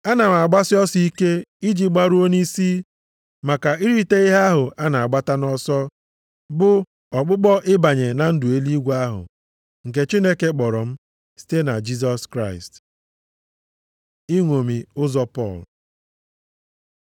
Ana m agbasi ọsọ ike iji gbaruo nʼisi, maka irite ihe ahụ a na-agbata nʼọsọ, bụ ọkpụkpọ ịbanye na ndụ eluigwe ahụ nke Chineke kpọrọ m site na Jisọs Kraịst. Ịṅomi ụzọ Pọl